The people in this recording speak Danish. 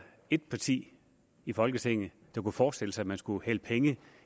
et parti i folketinget der kunne forestille sig at man skulle hælde penge